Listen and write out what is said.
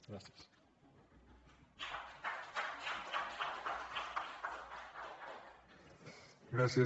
gràcies